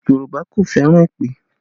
Yorùbá kò fẹ́ràn èpè